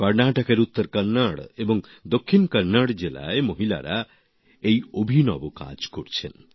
কর্নাটকের উত্তর কন্নড় এবং দক্ষিণ কন্নড় জেলায় মহিলারা এই অবিনব কাজ করছেন